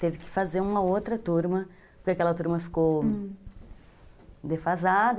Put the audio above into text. Teve que fazer uma outra turma, porque aquela turma ficou, hum, defasada.